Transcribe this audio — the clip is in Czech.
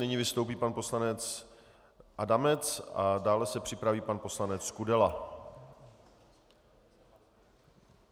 Nyní vystoupí pan poslanec Adamec a dále se připraví pan poslanec Kudela.